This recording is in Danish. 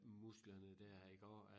Musklerne dér iggår at